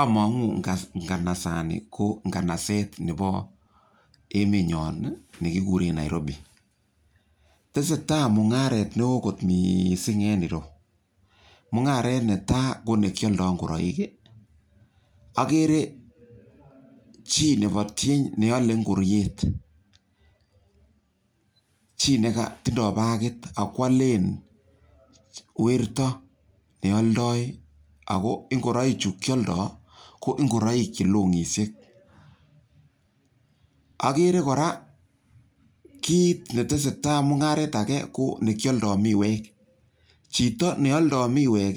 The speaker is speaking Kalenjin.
Amang'u nganasani ko nganaset nepo emenyon ne kikure Narobi. Tese tai mung'aret ne oo kot missing' ene ere yu. Mung'aret ne tai ko ne kialdai ngoroik. Akere chi nepo tieny ne ale ngoriet, chi ne tindai bakit ako alen werto ne aldai ako ngoroichu kialdai ako ngoroik che long'ishek. Akere kora kit ne tese tai, mung'aret age ko ne kialdai miwek. Chito ne aldai miwek